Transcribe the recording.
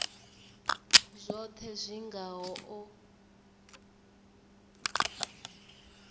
zwohe zwi nga ho u